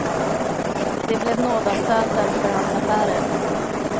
Det blev nådastöten för hans affärer.